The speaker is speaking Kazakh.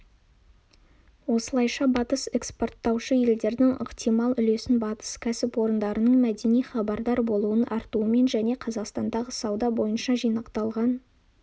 осылайша батыс эскпорттаушы елдердің ықтимал үлесін батыс кәсіпорындарының мәдени хабардар болуының артуымен және қазақстандағы сауда бойынша жинақталған